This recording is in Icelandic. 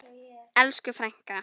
Elsku frænka!